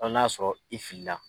Fo n'a y'a sɔrɔ i filila